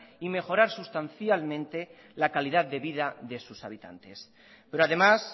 y mejorar sustancialmente la calidad de vida de sus habitantes pero además